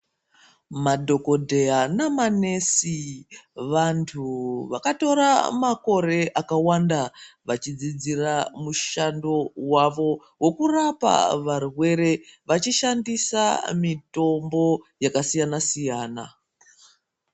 Madhokodheya namanesi vantu vakatora makore akawanda vachidzidzira mushando wavo wokurapwa varwere vachishandisa mitombo yakasiyana siyana.